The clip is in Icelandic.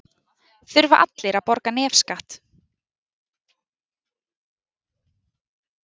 Þurfa allir að borga nefskatt?